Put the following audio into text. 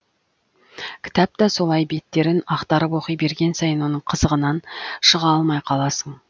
кітап та солай беттерін ақтарып оқи берген сайын оның қызығынан шыға алмай қаласың